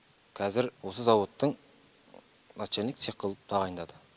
қазір осы зауыттың начальник цех қылып тағайындады